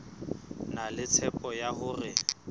na le tshepo ya hore